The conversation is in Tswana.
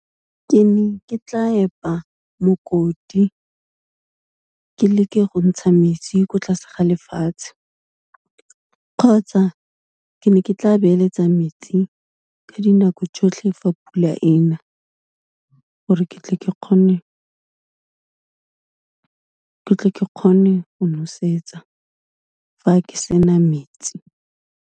Ke ne ke tla epa mokoti ke leke go ntsha metsi ko tlase ga lefatshe kgotsa ke ne ke tla beeletsa metsi ka dinako tsotlhe fa pula ena, gore ke tle ke kgone, ke tle ke kgone go nosetsa fa ke sena metsi.